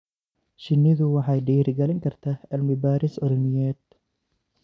Shinnidu waxay dhiirigelin kartaa cilmi-baadhis cilmiyeed.